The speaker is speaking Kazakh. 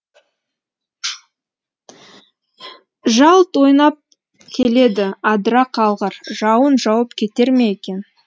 жалт ойнап келеді адыра қалғыр жауын жауып кетер ме екен